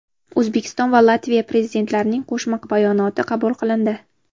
O‘zbekiston va Latviya Prezidentlarining Qo‘shma bayonoti qabul qilindi .